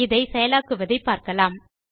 இதை செயலாக்குவதைப் பார்க்கலாம்